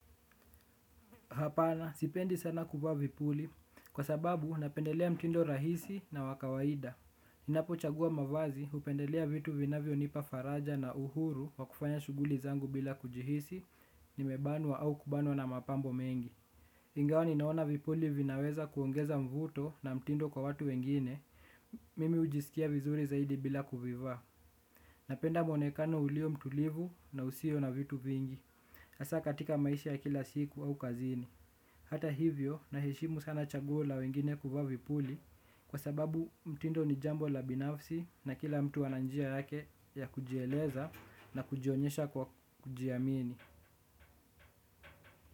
Hapana, sipendi sana kuvaa vipuli. Kwa sababu, napendelea mtindo rahisi na wakawaida. Ninapo chagua mavazi, hupendelea vitu vinavyo nipa faraja na uhuru, wakufanya shughuli zangu bila kujihisi, nimebanwa au kubanwa na mapambo mengi. Ingawa, ninaona vipuli vinaweza kuongeza mvuto na mtindo kwa watu wengine, mimi hujisikia vizuri zaidi bila kuvivaa. Napenda muonekano ulio mtulivu na usio na vitu vingi. Hasa katika maisha ya kila siku au kazini. Hata hivyo na heshimu sana chaguo la wengine kuvaa vipuli kwa sababu mtindo ni jambo la binafsi na kila mtu ananjia yake ya kujieleza na kujionyesha kwa kujiamini.